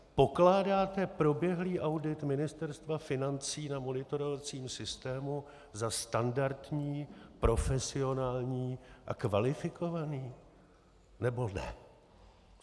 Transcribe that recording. Pokládáte proběhlý audit Ministerstva financí na monitorovacím systému za standardní, profesionální a kvalifikovaný, nebo ne?